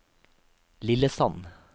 Lillesand